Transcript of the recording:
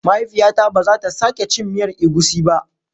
Mahaifiyata bazata sake cin miyan egusi ba.